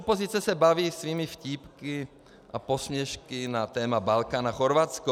Opozice se baví svými vtípky a posměšky na téma Balkán a Chorvatsko.